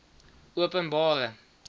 openbare